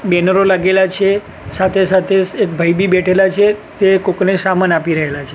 બેનરો લાગેલા છે સાથે સાથે એક ભાઈબી બેઠેલા છે તે કોક ને સામાન આપી રહેલા છે.